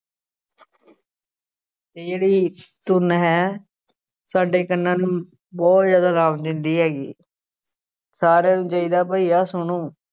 ਤੇ ਜਿਹੜੀ ਧੁਨ ਹੈ ਸਾਡੇ ਕੰਨਾਂ ਨੂੰ ਬਹੁਤ ਜ਼ਿਆਦਾ ਆਰਾਮ ਦਿੰਦੀ ਹੈਗੀ ਸਾਰਿਆਂ ਨੂੰ ਚਾਹੀਦਾ ਭਾਈ ਆਹ ਸੁਣੋ।